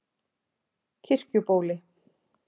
Kirkjubóli